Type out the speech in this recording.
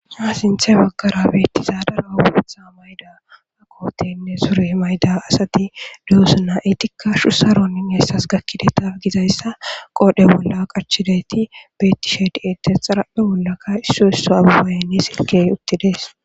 Ha sinthe makara bettizaadara obutha mayda akooteynne sure mayda asati duusuna etikka shu saronin eessas gakkide taf gizayssa qoodhe bolla qachidayti beettishe di'ete xaraphe bollaka isso isso ababayni silkey uttides.